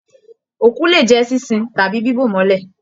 Òkú lè jẹ ṣinṣin tàbí bibo mọlẹ.